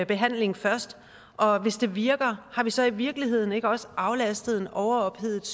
behandling først og hvis det virker har vi så i virkeligheden ikke også aflastet en overophedet